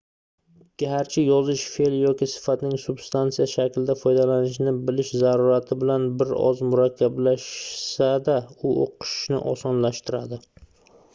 garchi yozish feʼl yoki sifatning substansiya shaklida foydalanilishini bilish zarurati bilan bir oz murakkablashsa-da u oʻqishni osonlashtiradi